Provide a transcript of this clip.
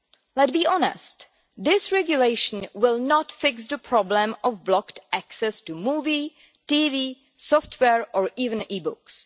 Let's be honest, this regulation will not fix the problem of blocked access to movies, TV, software or even e-books.